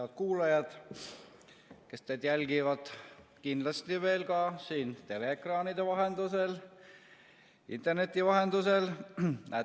Head kuulajad, kes te kindlasti jälgite veel ka siin teleekraanide vahendusel, interneti vahendusel!